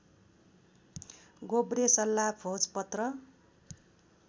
गोब्रे सल्ला भोजपत्र